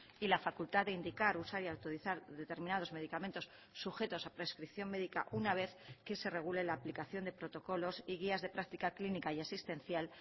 y la facultad de indicar usar y autorizar determinados medicamentos sujetos a prescripción médica una vez que se regule la aplicación de protocolos y guías de práctica clínica y asistencial